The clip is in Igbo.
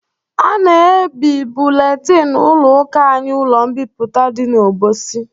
A na-ebi buletin ụlọ ụka anyị ụlọ mbipụta dị n'Obosi